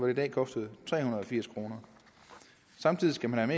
i dag koster tre hundrede og firs kroner samtidig skal man